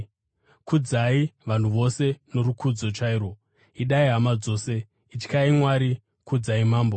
Kudzai vanhu vose norukudzo chairwo: Idai hama dzose, ityai Mwari, kudzai mambo.